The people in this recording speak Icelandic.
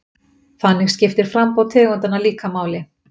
Þannig skiptir framboð tegundanna líka máli.